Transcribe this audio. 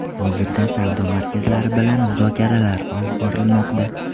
Hozirda savdo markazlari bilan muzokaralar olib borilmoqda.